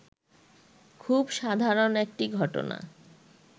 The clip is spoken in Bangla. খুব সাধারণ একটি ঘটনা